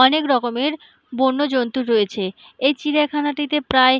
অনেক রকমের বন্য জন্তু রয়েছে এই চিড়িয়াখানাটিতে প্রায়--